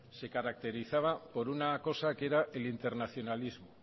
se caracterizaba por una cosa que era en internacionalismo